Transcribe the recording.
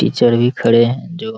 teacher भी खड़े हैं जो --